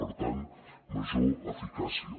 per tant major eficàcia